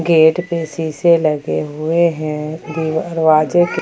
gate पे शीशे लगे हुए हैं दरवाजे के--